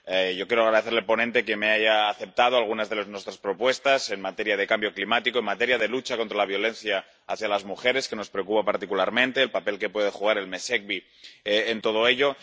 Yo quiero agradecer al ponente que haya aceptado algunas de nuestras propuestas en materia de cambio climático, en materia de lucha contra la violencia hacia las mujeres —que nos preocupa particularmente— y sobre el papel que puede jugar el Mesecvi en todo ello.